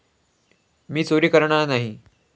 मी चोरी करणार नाही.